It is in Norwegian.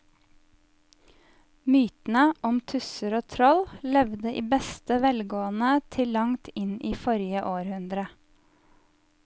Mytene om tusser og troll levde i beste velgående til langt inn i forrige århundre.